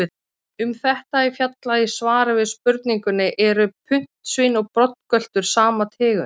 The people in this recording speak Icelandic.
Um þetta er fjallað í svari við spurningunni Eru puntsvín og broddgöltur sama tegund?